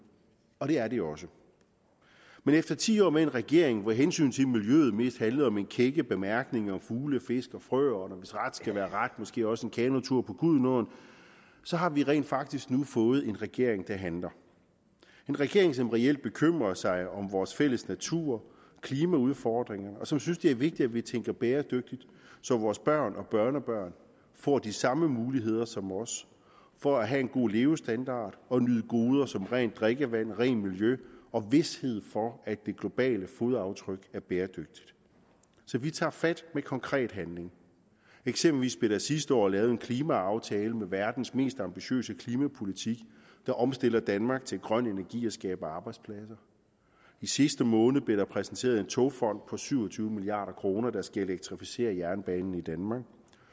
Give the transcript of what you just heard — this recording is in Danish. og det er det også men efter ti år med en regering hvor hensynet til miljøet mest handlede om kække bemærkninger om fugle fisk og frøer og hvis ret skal være ret måske også en kanotur på gudenåen så har vi rent faktisk nu fået en regering der handler en regering som reelt bekymrer sig om vores fælles natur og klimaudfordringerne og som synes at det er vigtigt at vi tænker bæredygtigt så vores børn og børnebørn får de samme muligheder som os for at have en god levestandard og nyde goder som rent drikkevand og rent miljø og får vished for at det globale fodaftryk er bæredygtigt så vi tager fat med konkret handling eksempelvis blev der sidste år lavet en klimaaftale om verdens mest ambitiøse klimapolitik der omstiller danmark til grøn energi og skaber arbejdspladser i sidste måned blev der præsenteret en togfond for syv og tyve milliard kr der skal elektrificere jernbanen i danmark